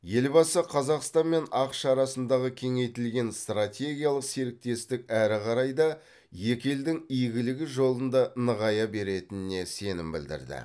елбасы қазақстан мен ақш арасындағы кеңейтілген стратегиялық серіктестік әрі қарай да екі елдің игілігі жолында нығая беретініне сенім білдірді